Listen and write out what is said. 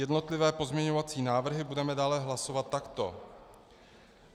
Jednotlivé pozměňovací návrhy budeme dále hlasovat takto: